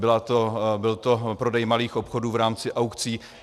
Byl to prodej malých obchodů v rámci aukcí.